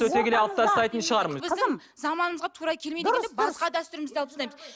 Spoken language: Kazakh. өте келе алып тастайтын шығармыз қызым заманымызға тура келмейді деп басқа дәстүрімізді алып тастаймыз